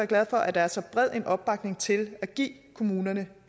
glad for at der er så bred en opbakning til at give kommunerne